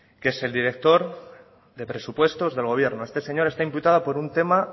que es el director de presupuestos del gobierno este señor está imputado por un tema